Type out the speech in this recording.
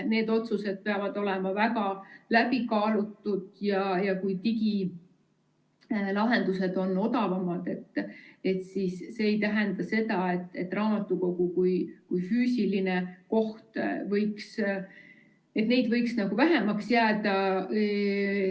Need otsused peavad olema väga läbikaalutud ja kui digilahendused on odavamad, siis see ei tähenda seda, et raamatukogusid kui füüsilisi kohti võiks vähemaks jääda.